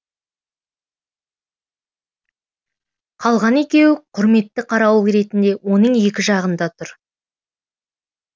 қалған екеуі құрметті қарауыл ретінде оның екі жағында тұр